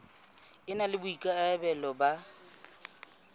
e na le boikarabelo ba